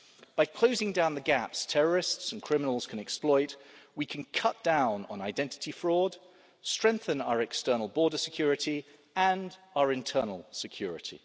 By closing down the gaps that terrorists and criminals can exploit, we can cut down on identity fraud and strengthen our external border security and our internal security.